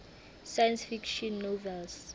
science fiction novels